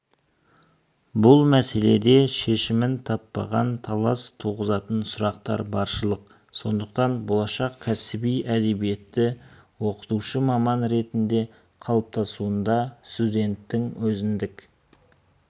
бұл мәселеде шешімін таппаған талас туғызатын сұрақтар баршылық сондықтан болашақ кәсіби әдебиетті оқытушы маман ретінде қалыптасуында студенттің өзіндік